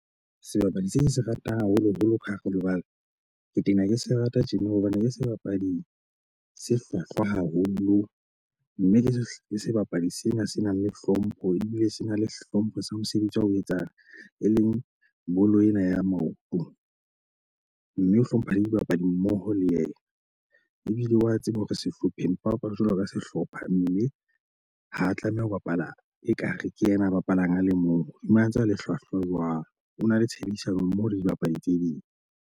Sebapadi se ke se ratang haholoholo ka hare ho lebala ke tena ke se rata tjena hobane ke sebapadi se hlwahlwa haholo. Mme ke sebapadi sena se nang le hlompho ebile se na le hlompho sa mosebetsi wa ho etsang, e leng bolo ena ya maoto. Mme o hlompha le dibapadi mmoho le yena. Ebile wa tseba hore sehlopheng mpa bapala jwalo ka sehlopha mme ho tlameha ho bapala ekare ke yena a bapalang a le mong. Hodima a ntse a le hlwahlwa jwang o na le tshebedisanommoho le dibapadi tse ding.